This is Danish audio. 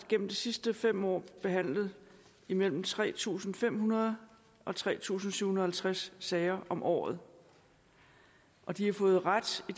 gennem de sidste fem år behandlet imellem tre tusind fem hundrede og tre tusind syv hundrede og halvtreds sager om året og de har fået ret i